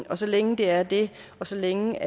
og så længe det er det og så længe